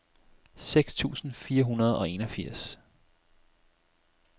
seks tusind fire hundrede og enogfirs